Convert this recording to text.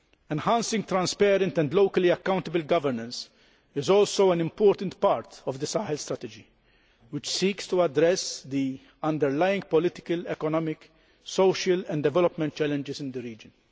Enhancing transparent and locally accountable governance is also an important part of the Sahel Strategy, which seeks to address the underlying political, economic, social and development challenges in the region.